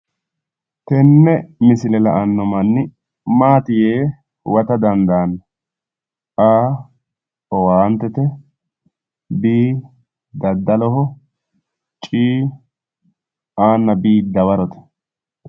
tenne misile la'anno manni maati yee huwate dandaanno? a,owaantete b, c,dadaloho c,a nna b dawarote.